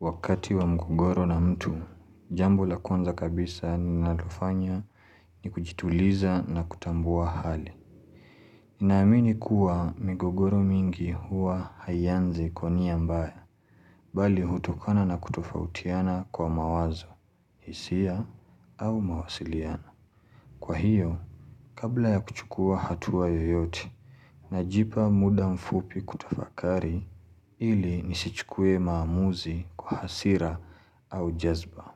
Wakati wa mgogoro na mtu, jambo la kwanza kabisa ninalofanya ni kujituliza na kutambua hali. Namini kuwa migogoro mingi huwa hayanzi konia mbaya, bali hutokana na kutofautiana kwa mawazo, hisia, au mawasiliano. Kwa hiyo, kabla ya kuchukua hatua yoyote, najipa muda mfupi kutafakari ili nisichukue maamuzi kwa hasira au jazba.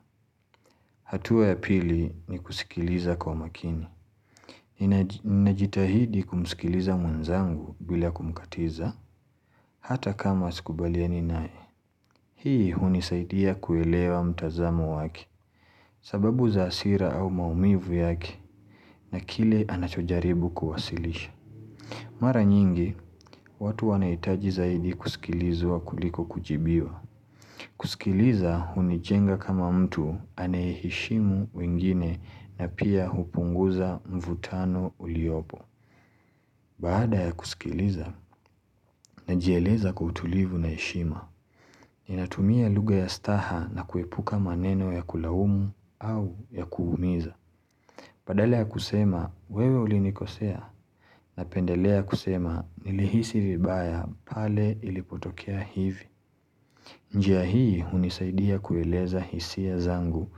Hatua ya pili ni kusikiliza kwa makini Ninajitahidi kumsikiliza mwenzangu bila kumkatiza Hata kama sikubaliani nae Hii hunisaidia kuelewa mtazamo wake sababu za asira au maumivu yake na kile anachojaribu kuwasilisha Mara nyingi, watu wanaitaji zaidi kusikilizwa kuliko kujibiwa kusikiliza hunichenga kama mtu anaeheshimu wengine na pia hupunguza mvutano uliopo Baada ya kusikiliza najieleza kwa utulivu na eshima Ninatumia luga ya staha na kuepuka maneno ya kulawumu au ya kuhumiza Padala ya kusema wewe ulinikosea Napendeleya kusema nilihisi vibaya pale ilipotokea hivi njia hii unisaidia kueleza hisiya zangu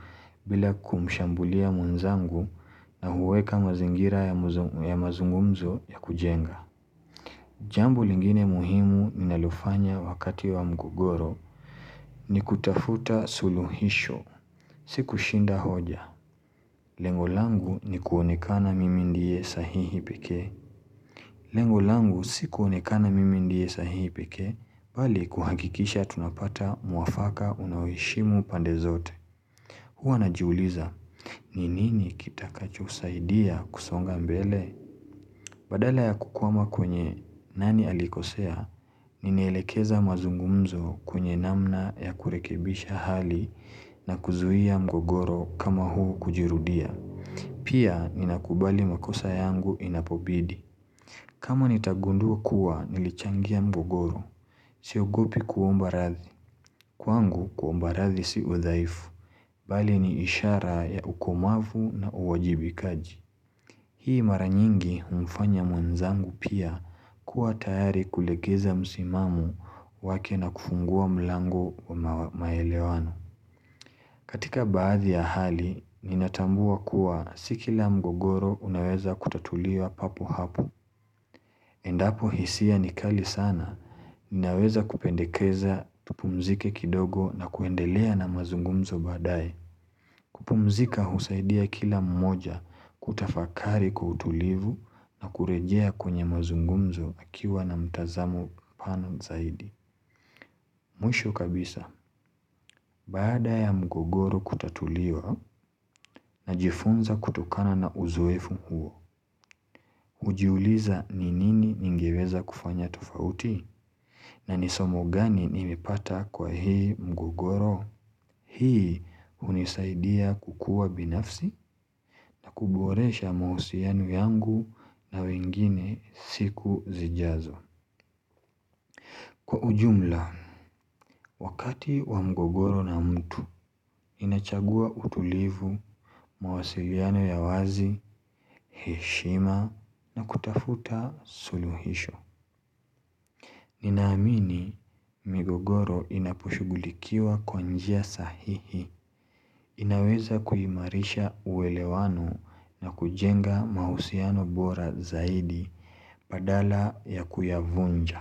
bila kumshambulia mwenzangu na huweka mazingira ya mazungumzo ya kujenga. Jambo lingine muhimu ninalofanya wakati wa mgogoro ni kutafuta suluhisho. Siku shinda hoja. Lengo langu ni kuonekana mimi ndie sahihi peke. Lengo langu sikuonekana mimi ndie sahihi peke, bali kuhakikisha tunapata muwafaka unaowishimu pande zote. Huwa najiuuliza, ninini kitakacho saidia kusonga mbele? Badala ya kukuama kwenye nani alikosea, ninelekeza mazungumzo kwenye namna ya kurekebisha hali na kuzuhia mgogoro kama huu kujirudia. Pia, ninakubali makosa yangu inapobidi. Kama nitagundua kuwa nilichangia mgogoro. Siogopi kuomba rathi. Kwangu kuomba rathi si udhaifu. Bali ni ishara ya ukomavu na uwajibikaji. Hii maranyingi umfanya mwanzangu pia kuwa tayari kulegeza musimamo wake na kufungua mlango wa maelewano. Katika baadhi ya hali, ninatambua kuwa sikila mgogoro unaweza kutatuliwa papo hapo. Endapo hisia nikali sana, ninaweza kupendekeza tupumzike kidogo na kuendelea na mazungumzo badae. Kupumzika husaidia kila mmoja kutafakari kwa utulivu na kurejea kwenye mazungumzo akiwa na mtazamo pana zaidi. Muisho kabisa, bada ya mgogoro kutatuliwa najifunza kutokana na uzoefu huo, ujiuliza ni nini ningeweza kufanya tofauti na nisomo gani nimepata kwa hii mgogoro, hii unisaidia kukua binafsi na kuboresha mausiano yangu na wengine siku zijazo. Kwa ujumla, wakati wa mgogoro na mtu, inachagua utulivu, mawasiliano ya wazi, heshima na kutafuta suluhisho. Ninaamini migogoro inaposhugulikiwa kwa njia sahihi, inaweza kuhimarisha uwelewano na kujenga mausiano bora zaidi padala ya kuyavunja.